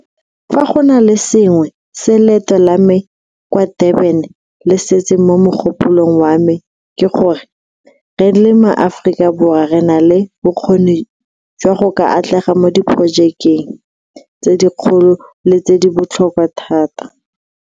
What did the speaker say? Fa go na le sengwe se leeto la me kwa Durban se setseng mo mogopolong wa me ke gore, re le maAforika Borwa re na le bokgoni jwa go ka atlega mo diporojekeng tse dikgolo le tse di botlhokwa thata.